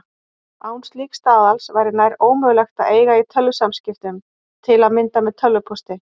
Án slíks staðals væri nær ómögulegt að eiga í tölvusamskiptum, til að mynda með tölvupósti.